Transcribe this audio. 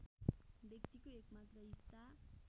व्यक्तिको एकमात्र हिस्सा